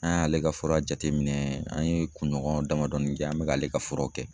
An y'ale ka fura jateminɛ, an ye kunɲɔgɔn damadɔɔni kɛ an mɛ k'ale ka furaw kɛ.